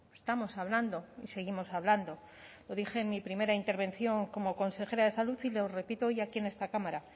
estamos hablando y seguimos hablando lo dije en mi primera intervención como consejera de salud y lo repito hoy aquí en esta cámara